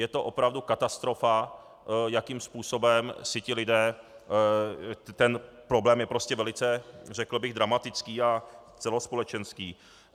Je to opravdu katastrofa, jakým způsobem si ti lidé - ten problém je prostě velice, řekl bych, dramatický a celospolečenský.